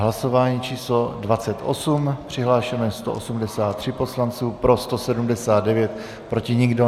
Hlasování číslo 28, přihlášeno je 183 poslanců, pro 179, proti nikdo.